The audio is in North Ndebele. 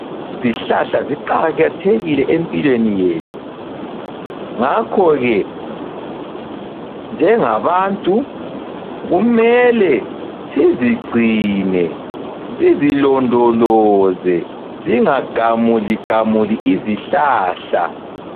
Izihlahla ziqakathekile empilweni yethu, ngakho ke njengabantu kumele sizigcine, sizilondoloze singa gamuli gamuli izihlahla.